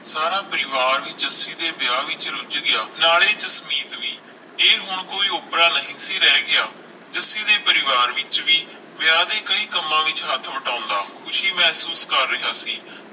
ਸਾਰਾ ਪਰਿਵਾਰ ਜੱਸੀ ਦੇ ਵਿਆਹ ਵਿਚ ਰੁਝ ਗਿਆ ਸਾਰੇ ਜਸਮੀਤ ਵੀ ਇਹ ਹੁਣ ਕੋਈ ਓਪਰਾ ਨਹੀਂ ਸੀ ਰਹਿ ਗਿਆ ਜੱਸੀ ਦੇ ਪਰਿਵਾਰ ਵਿਚ ਵੀ ਵਿਆਹ ਦੇ ਕਈ ਕੰਮਾਂ ਵਿਚ ਹੱਥ ਵਟਾਉਂਦਾ ਖੁਸ਼ੀ ਮਹਿਸੂਸ ਕਰ ਰਿਹਾ ਸੀ